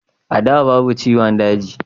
a da babu ciwon daji